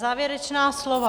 Závěrečná slova.